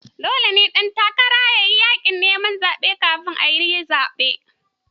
Dole ne ɗan takara yayi yaƙin neman zaɓe kamin ayi zaɓe.